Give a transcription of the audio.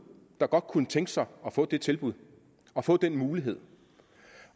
der godt kunne tænke sig at få det tilbud og få den mulighed